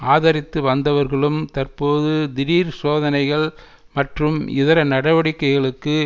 ஆதரித்து வந்தவர்களும் தற்போது திடீர் சோதனைகள் மற்றும் இதர நடவடிக்கைகளுக்கு